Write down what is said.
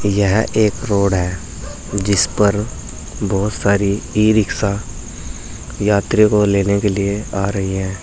यह एक रोड है जिस पर बहुत सारी ई रिक्शा यात्री को लेने के लिए आ रही है।